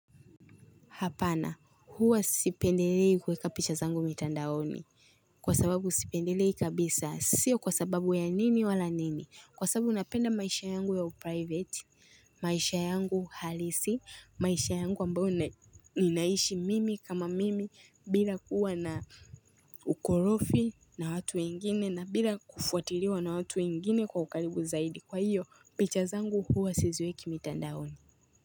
Hapana, huwa sipendilei kuweka picha zangu mitandaoni. Kwa sababu sipendilei kabisa, sio kwa sababu ya nini wala nini. Kwa sababu napenda maisha yangu yawe private, maisha yangu halisi, maisha yangu ambao ninaishi mimi kama mimi bila kuwa na ukorofi na watu wengine na bila kufuatiliwa na watu wengine kwa ukaribu zaidi. Kwa hiyo, picha zangu huwa siziweki mitandaoni.